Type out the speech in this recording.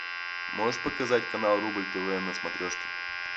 можешь показать канал рубль тв на смотрешке